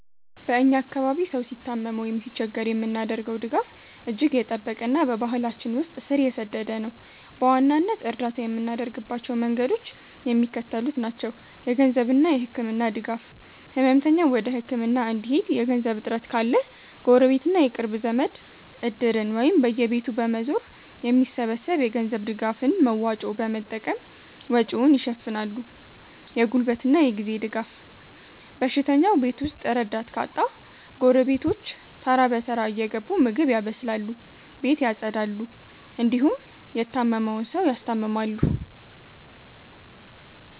በ እኛ አካባቢ ሰው ሲታመም ወይም ሲቸገር የምናደርገው ድጋፍ እጅግ የጠበቀና በባህላችን ውስጥ ስር የሰደደ ነው። በዋናነት እርዳታ የምናደርግባቸው መንገዶች የሚከተሉት ናቸው -የገንዘብና የህክምና ድጋፍ፦ ህመምተኛው ወደ ህክምና እንዲሄድ የገንዘብ እጥረት ካለ፣ ጎረቤትና የቅርብ ዘመድ "እድር"ን ወይም በየቤቱ በመዞር የሚሰበሰብ የገንዘብ ድጋፍን (መዋጮ) በመጠቀም ወጪውን ይሸፍናሉ። የጉልበትና የጊዜ ድጋፍ፦ በሽተኛው ቤት ውስጥ ረዳት ካጣ፣ ጎረቤቶች ተራ በተራ እየገቡ ምግብ ያበስላሉ፣ ቤት ያፀዳሉ እንዲሁም የታመመውን ሰው ያስታምማሉ።